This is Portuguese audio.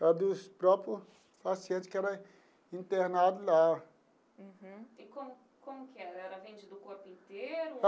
Era dos próprios pacientes que era internado lá. Uhum. E como como que era, era vendido o corpo inteiro?